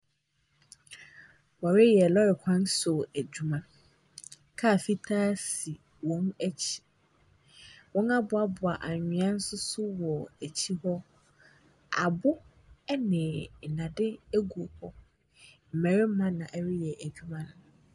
Wɔreyɛ lɔre kwan so adwuma. Kaa fitaa si wɔn akyi. Wɔaboaboa anwea nso so wɔ akyi hɔ. Abo ne nnade gu hɔ. Mmarima na wɔreyɛ adwuma.